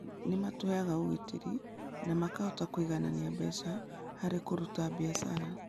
Nĩ matũheaga ũgitĩri na makahota kũiganania mbeca harĩ kũruta biacara.